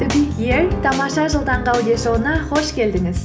ең тамаша жыл таңғы аудиошоуына қош келдіңіз